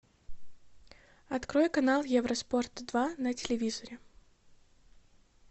открой канал евроспорт два на телевизоре